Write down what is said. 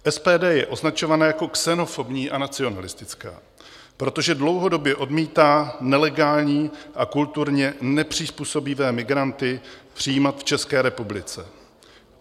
SPD je označována jako xenofobní a nacionalistická, protože dlouhodobě odmítá nelegální a kulturně nepřizpůsobivé migranty přijímat v České republice.